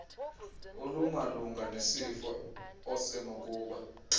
olumalunga nesifo osenokuba